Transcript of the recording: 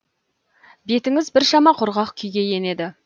бетіңіз біршама құрғақ күйге енеді